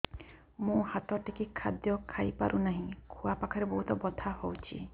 ମୁ ହାତ ଟେକି ଖାଦ୍ୟ ଖାଇପାରୁନାହିଁ ଖୁଆ ପାଖରେ ବହୁତ ବଥା ହଉଚି